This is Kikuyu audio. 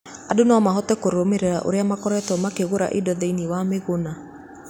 Andũ no mahote kũrũmĩrĩra ũrĩa makoretwo makĩgũra indo thĩinĩ wa Maguna.